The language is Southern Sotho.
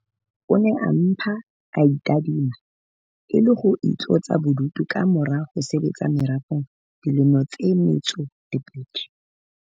O ne a mpa ae tadima e le ho itlosa bodutu ka mora ho sebetsa merafong dilemo tse 22.